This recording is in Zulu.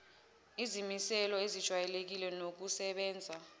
izimiselo ezejwayelekile nokusebenza